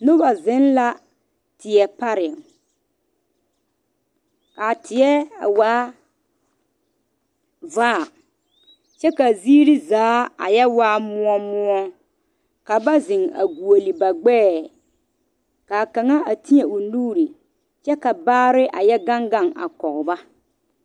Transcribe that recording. Noba zeŋ la teɛ pare kaa teɛ a waa vaa kyɛ ka ziiri zaa a yɛ waa moɔ moɔ ka ba zeŋ a gɔgle ba gbɛɛ kaa kaŋa a teɛ o nuure kyɛ ka baare a yɛ gaŋ gaŋ a kɔŋ ba.